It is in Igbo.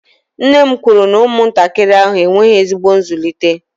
nne m kwuru na ụmụntakịrị ahụ enweghị ezigbo nzụlite